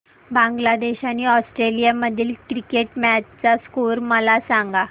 बांगलादेश आणि ऑस्ट्रेलिया मधील cricket match चा स्कोअर मला सांगा